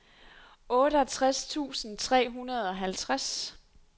otteogtres tusind tre hundrede og halvtreds